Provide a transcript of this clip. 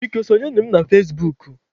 Biko, sọnyere m na fazebuk.